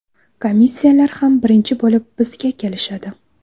Komissiyalar ham birinchi bo‘lib bizga kelishadi.